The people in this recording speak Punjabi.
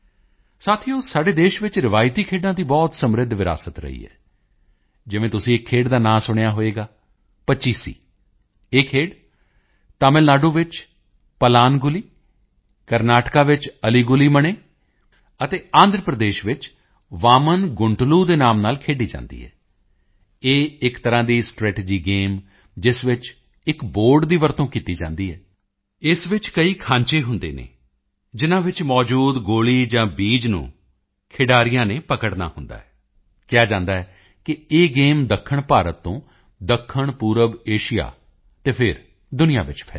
ਸਾਥੀਓ ਸਾਡੇ ਦੇਸ਼ ਵਿੱਚ ਰਵਾਇਤੀ ਖੇਡਾਂ ਦੀ ਬਹੁਤ ਸਮ੍ਰਿੱਧ ਵਿਰਾਸਤ ਰਹੀ ਹੈ ਜਿਵੇਂ ਤੁਸੀਂ ਇੱਕ ਖੇਡ ਦਾ ਨਾਂ ਸੁਣਿਆ ਹੋਵੇਗਾ ਪੱਚੀਸੀ ਇਹ ਖੇਡ ਤਮਿਲ ਨਾਡੂ ਵਿੱਚ ਪਲਾਨਗੁਲੀ ਕਰਨਾਟਕ ਵਿੱਚ ਅਲੀ ਗੁਲੀ ਮਣੇ ਅਤੇ ਆਂਧਰਾ ਪ੍ਰਦੇਸ਼ ਵਿੱਚ ਵਾਮਨ ਗੁੰਟਲੂ ਦੇ ਨਾਮ ਨਾਲ ਖੇਡੀ ਜਾਂਦੀ ਹੈ ਇਹ ਇੱਕ ਤਰ੍ਹਾਂ ਦਾ ਸਟ੍ਰੈਟੇਜੀ ਗੇਮ ਜਿਸ ਵਿੱਚ ਇੱਕ ਬੋਰਡ ਦੀ ਵਰਤੋਂ ਕੀਤੀ ਜਾਂਦੀ ਹੈ ਇਸ ਵਿੱਚ ਕਈ ਖਾਂਚੇ ਹੁੰਦੇ ਹਨ ਜਿਨ੍ਹਾਂ ਵਿੱਚ ਮੌਜੂਦ ਗੋਲੀ ਜਾਂ ਬੀਜ ਨੂੰ ਖਿਡਾਰੀਆਂ ਨੇ ਪਕੜਨਾ ਹੁੰਦਾ ਹੈ ਕਿਹਾ ਜਾਂਦਾ ਹੈ ਕਿ ਇਹ ਗੇਮ ਦੱਖਣ ਭਾਰਤ ਤੋਂ ਦੱਖਣ ਪੂਰਬ ਏਸ਼ੀਆ ਅਤੇ ਫਿਰ ਦੁਨੀਆ ਵਿੱਚ ਫੈਲੀ ਹੈ